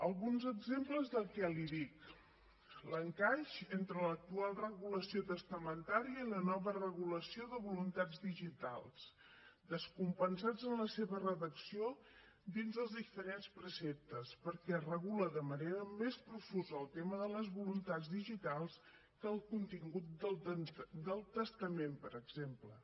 alguns exemples del que li dic l’encaix entre l’actual regulació testamentària i la nova regulació de voluntats digitals descompensats en la seva redacció dins dels diferents preceptes perquè regula de manera més profusa el tema de les voluntats digitals que el contingut del testament per exemple